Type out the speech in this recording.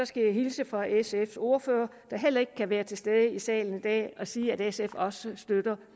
skal hilse fra sfs ordfører der heller ikke kan være til stede i salen i dag og sige at sf også støtter